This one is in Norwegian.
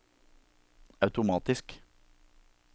automatisk